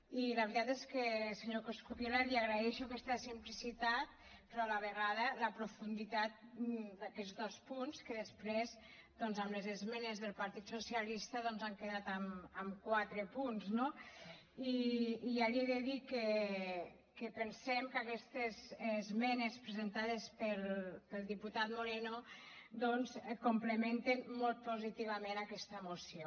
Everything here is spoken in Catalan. i la veritat és que senyor coscubiela li agraeixo aquesta simplicitat però a la vegada la profunditat d’aquests dos punts que després doncs amb les esmenes del partit socialista han quedat amb quatre punts no i ja li he de dir que pensem que aquestes esmenes presentades pel diputat moreno complementen molt positivament aquesta moció